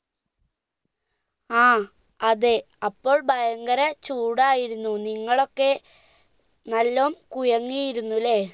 ആ അതെ അപ്പോൾ ഭയങ്കര ചൂടായിരുന്നു നിങ്ങളൊക്കെ നല്ലോം കുഴങ്ങിയിരുന്നു അല്ലെ